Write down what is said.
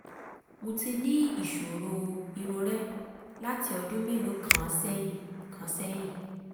mo ti ní ìṣòro irorẹ́ láti ọdún mélòó kan sẹ́yìn kan sẹ́yìn